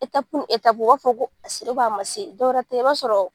u b'a fɔ ko a sela a ma dɔwɛ tɛ i b'a sɔrɔ .